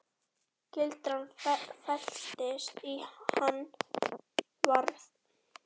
Gildran felst í Hann var.